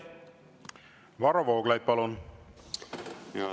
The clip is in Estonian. Varro Vooglaid, palun!